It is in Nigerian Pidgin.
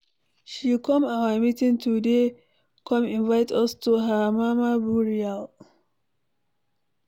She come our meeting today come invite us to her mama burial.